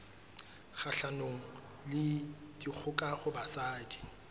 kgahlanong le dikgoka ho basadi